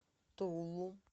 тулу